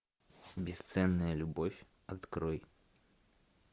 бесценная любовь открой